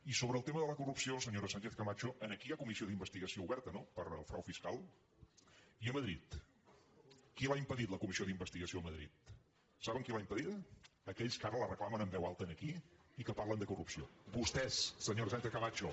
i sobre el tema de la corrupció senyora sánchez·ca·macho aquí hi ha comissió d’investigació oberta no pel frau fiscal i a madrid qui l’ha impedit la comis·sió d’investigació a madrid saben qui l’ha impedida aquells que ara la reclamen en veu alta aquí i que par·len de corrupció vostès senyora sánchez·camacho